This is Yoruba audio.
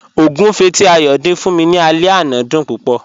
Ọ̀gúnfẹ̀ tí Ayọ́ dín fún mí ní àlẹ̀ ọ̀nà dún púpọ̀.